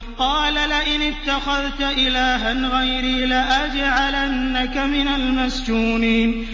قَالَ لَئِنِ اتَّخَذْتَ إِلَٰهًا غَيْرِي لَأَجْعَلَنَّكَ مِنَ الْمَسْجُونِينَ